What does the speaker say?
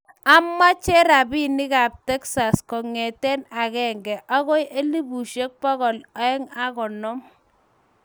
Amache robinik kab Texas kongete agenge agoi elubushek bokol aeng ago konom